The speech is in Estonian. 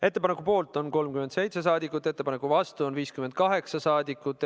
Ettepaneku poolt on 37 saadikut, ettepaneku vastu on 58 saadikut.